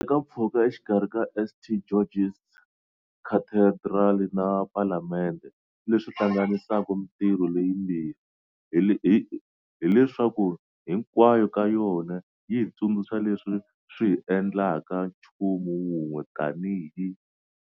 Handle ka mpfhuka exikarhi ka St George's Cathedral na Palamende, leswi hlanganisaka mitirho leyimbirhi hi leswaku hinkwayo ka yona yi hi tsundzuxa leswi swi hi endlaka nchumu wun'we tanihi